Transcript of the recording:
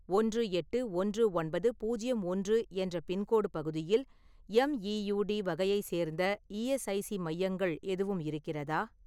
ஒன்று எட்டு ஒன்று ஒன்பது பூஜ்யம் ஒன்று என்ற பின்கோடு பகுதியில் எம் ஈ யு டி வகையை சேர்ந்த இ.எஸ்.ஐ.சி மையங்கள் எதுவும் இருக்கிறதா?